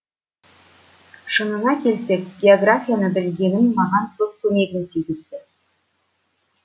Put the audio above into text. шынына келсек географияны білгенім маған көп көмегін тигізді